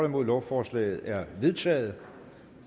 nul lovforslaget er vedtaget